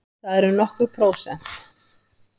Það eru nokkur prósent.